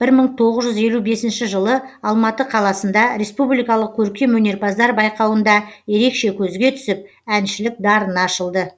бір мың тоғыз жүз елу бесінші жылы алматы қаласында республикалық көркем өнерпаздар байқауында ерекше көзге түсіп әншілік дарыны ашылды